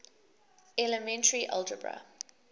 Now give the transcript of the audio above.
elementary algebra